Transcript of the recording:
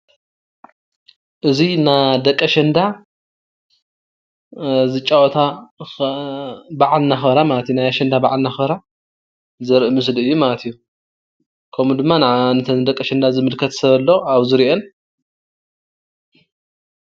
እዚ ናይ ደቂ ኣሸንዳ ዝጫወታ ወይ ድማ ናይ ኣሸንዳ በዓል እንዳኽበራ ዘርኢ ምስሊ ማለት እዩ፡፡ ከምኡ ድማ ነተን ደቂ ኣሸንዳ ዝምልከት /ዝሪአን/ ሰብ ኣሎ ኣብኡ ዝሪአን፡፡